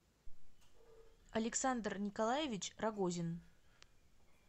александр николаевич рогозин